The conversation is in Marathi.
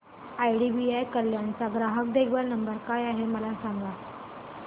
आयडीबीआय कल्याण चा ग्राहक देखभाल नंबर काय आहे मला सांगा